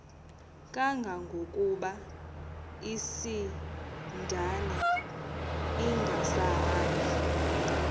kangangokuba isindane ingasahambi